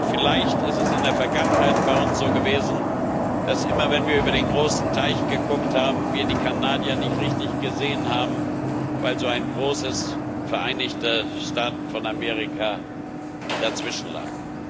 Vielleicht ist es in der Vergangenheit bei uns so gewesen, dass immer, wenn wir über den großen Teich geschaut haben, wir die Kanadier nicht richtig gesehen haben, weil so ein großes Vereinigte Staaten von Amerika dazwischen lag.